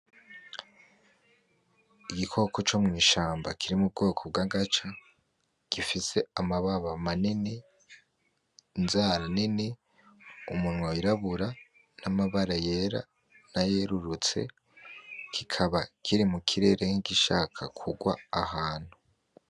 Igikoko co mw'ishamba kiri mu bwoko bw' agaca gifise amababa manini, inzara nini, umunwa w'irabura n'amabara yera nayerurutse kikaba kiri mu kirere nk'igishaka kugwa ahantu.